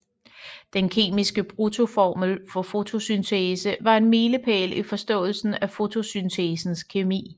Den kemiske bruttoformel for fotosyntesen var en milepæl i forståelsen af fotosyntesens kemi